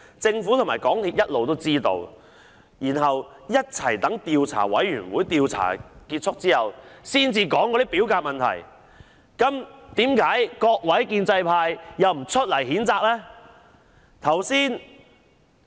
政府和港鐵公司一直知悉事件，卻一起待調查委員會的調查結束後才說表格有問題，為何各位建制派又不譴責呢？